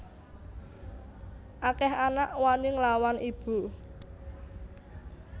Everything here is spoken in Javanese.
Akeh anak wani nglawan ibu